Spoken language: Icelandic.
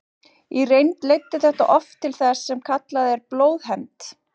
Í reynd leiddi þetta oft til þess sem kallað er blóðhefnd.